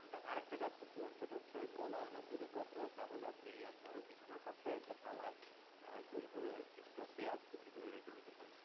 আরেকটা কাজ করতে পারেন সেটা হচ্ছে, গলায় অনেক যদি কফ হয়ে তাহলে আপনি আপনার বিছানার পাশে একটা থালায় আর গোল করে কিছুটা পেঁয়াজ কুচি করে রেখে দিতে পারেন।